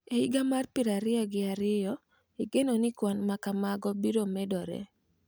E higa mar piero ariyo gi ariyo, igeno ni kwan ma kamago biro medore.